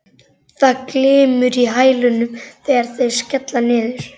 Það glymur í hælunum þegar þeir skella niður.